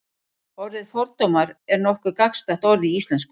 orðið fordómar er nokkuð gagnsætt orð í íslensku